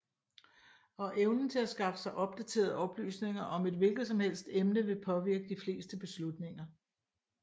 Og evnen til at skaffe sig opdaterede oplysninger om et hvilket som helst emne vil påvirke de fleste beslutninger